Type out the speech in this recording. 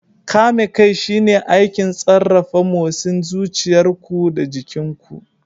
Kame kai shine aikin sarrafa motsin zuciyar ku da jikin ku.